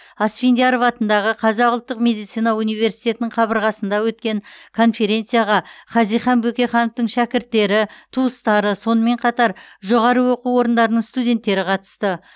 асфендияров атындағы қазақ ұлттық медицина университетінің қабырғасында өткен конференцияға хазихан бөкейхановтың шәкірттері туыстары сонымен қатар жоғары оқу орындарының студенттері қатысты